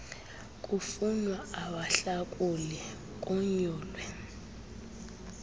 kufunwa abahlakuli konyulwe